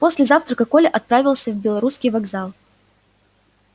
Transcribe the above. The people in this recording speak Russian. после завтрака коля отправился в белорусский вокзал